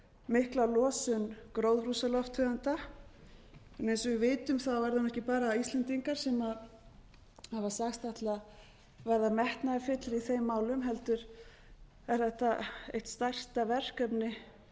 mikla losun gróðurhúsalofttegunda en eins og við vitum er það nú ekki bara íslendingar sem hafa sagst ætla að verða metnaðarfyllri í þeim málum heldur er þetta eitt stærsta verkefni